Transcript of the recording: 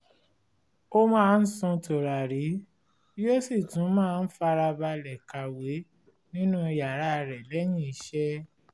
ó máa ń sun tùràrí yóó sì tú máa ń farabalẹ̀ kàwé nínú yàrá rẹ̀ lẹ́yìn iṣẹ́